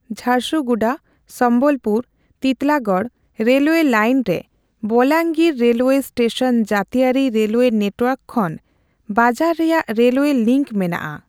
Jharsuguda Sambalpur Titlagarh railway line ᱨᱮ Bolangir railway station ᱡᱟᱹᱛᱤᱭᱟᱹᱨᱤ railway network ᱠᱷᱚᱱ ᱵᱟᱡᱟᱨ ᱨᱮᱭᱟᱜ ᱨᱮᱞᱣᱮ ᱞᱤᱸᱠ ᱢᱮᱱᱟᱜ ᱟ ᱾